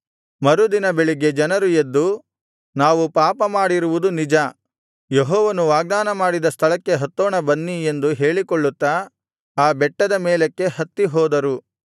ಮರುದಿನ ಬೆಳಿಗ್ಗೆ ಜನರು ಎದ್ದು ನಾವು ಪಾಪ ಮಾಡಿರುವುದು ನಿಜ ಯೆಹೋವನು ವಾಗ್ದಾನ ಮಾಡಿದ ಸ್ಥಳಕ್ಕೆ ಹತ್ತೋಣ ಬನ್ನಿ ಎಂದು ಹೇಳಿಕೊಳ್ಳುತ್ತಾ ಆ ಬೆಟ್ಟದ ಮೇಲಕ್ಕೆ ಹತ್ತಿಹೋದರು